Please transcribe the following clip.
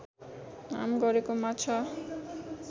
नाम गरेको माछा